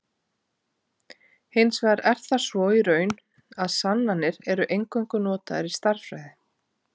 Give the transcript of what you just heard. Hins vegar er það svo í raun, að sannanir eru eingöngu notaðar í stærðfræði.